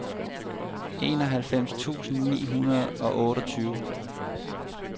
enoghalvfems tusind ni hundrede og otteogtyve